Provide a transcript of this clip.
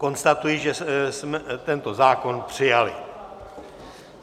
Konstatuji, že jsme tento zákon přijali.